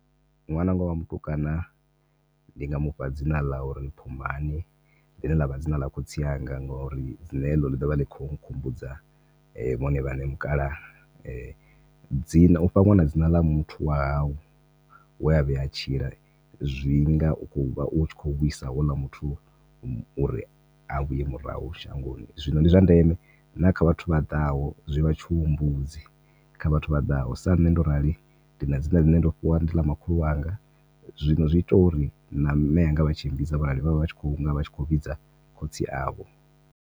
Ṅwananga wa mutukana ndinga mufha dzina ḽa uri Pfumani ḽine ḽavha dzina ḽa khotsi anga ngori nṋe heḽo ḽivha ḽi kho nkhumbudza vhone vhaṋe mukalaha dzina ufha nwana dzina ḽa muthu wa hau wea vhuya a tshila zwinga ukho uvha utshi kho vhuisa houḽa muthu uri a vhuye murahu shangoni. Zwino ndi zwa ndeme na kha vhathu vha ḓaho, zwivha tshihumbudzi kha vhathu vhaḓaho sa nṋe ndo rali ndina dzina ḽine ndo fhiwa ndi ḽa makhulu wanga zwino zwi ita uri na mme anga vhatshi mmbidza vha vha vha tshinga vha kho vhidza khotsi avho.